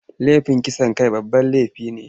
Laifin kisan kai babban laifi ne.